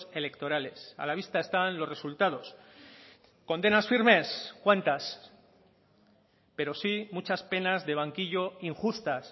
electorales a la vista están los resultados condenas firmes cuántas pero sí muchas penas de banquillo injustas